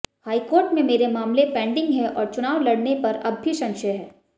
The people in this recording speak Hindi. हाईकोर्ट में मेरे मामले पेंडिग है और चुनाव लड़ने पर अब भी संशय है